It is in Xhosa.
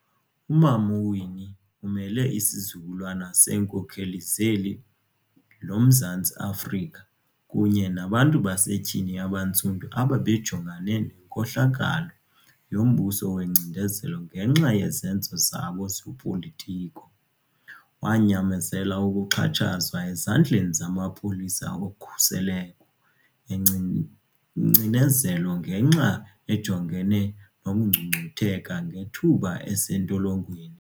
uMama uWinnie umele isizukulwana seenkokheli zeli loMzantsi-Afrika kunye nabantu basetyhini abantsundu abebejongene nenkohlakalo yombuso wengcinezelo ngenxa yezenzo zabo zopolitiko. Wanyamezela ukuxhatshazwa ezandleni zamapolisa okhuseleko engcinezelo ngexa ejongene nokungcungcutheka ngethuba esentolongweni.